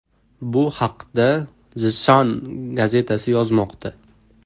Bu haqda The Sun gazetasi yozmoqda .